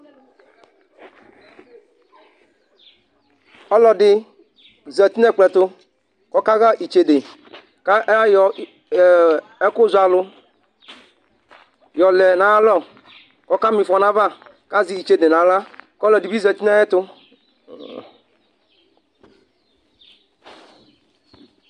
̵ɔlɔdi zati nɛkplɔetu kɔka ḥa itsede ka ayɔ ee ɛku zɔalu yɔlɛ naya lɔ kɔka mifɔ nayava kazɛ itsede nayla kɔlɔ dibi zati nayetũ